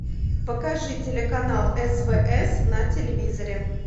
покажи телеканал свс на телевизоре